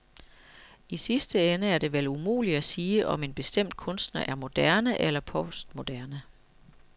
I sidste ende er det vel umuligt at sige, om en bestemt kunstner er moderne eller postmoderne.